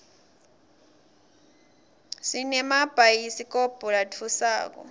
sinemabhayidikobho latfusako